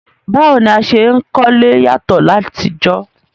Báwo ni a se n kólé yàtọ́ látijọ́